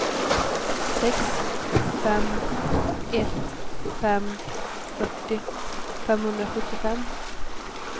sex fem ett fem fyrtio femhundrasjuttiofem